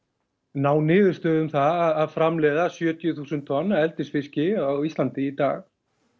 ná niðurstöðu um það að framleiða sjötíu þúsund tonn af eldisfiski á Íslandi í dag